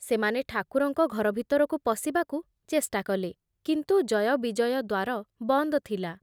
ସେମାନେ ଠାକୁରଙ୍କ ଘର ଭିତରକୁ ପଶିବାକୁ ଚେଷ୍ଟା କଲେ, କିନ୍ତୁ ଜୟ ବିଜୟ ଦ୍ଵାର ବନ୍ଦ ଥିଲା ।